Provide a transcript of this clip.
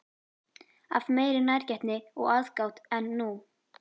Af meiri nærgætni og aðgát en nú?